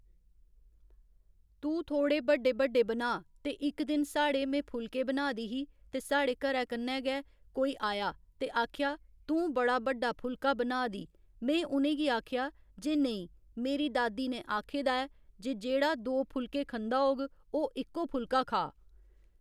तू थोह्ड़े बड्डे बड्डे बना ते इक दिन साढ़े में फुलके बना दी ही ते साढ़े घरै कन्नै गै कोई आया ते आखेआ तूं बड़ा बड्डा फुलका बना दी में उनेंगी आखेआ जे नेईं मेरी दादी ने आक्खे दा ऐ जे जेह्ड़ा दो फुलके खंदा होग ओह् इक्को फुलका खा